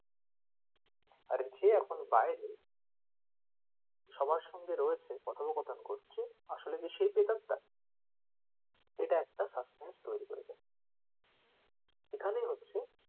আর যে এখন বাইরে সবার সঙ্গে রয়েছে কথপোকথন করছে আসলে কি সেই প্রেতাত্মা এটা একটা suspense তৈরী করেছে। এখানে হচ্ছে,